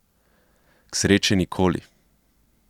K sreči nikoli.